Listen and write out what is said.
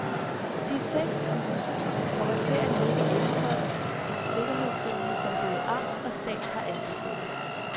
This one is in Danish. De seks huse kommer til at ligge indenfor den sikkerhedszone, som både amt og stat har anbefalet.